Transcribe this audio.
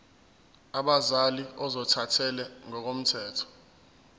abazali ozothathele ngokomthetho